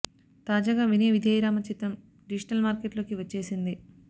తాజాగా వినయ విధేయ రామ చిత్రం digital market లోకి వచ్చేసింది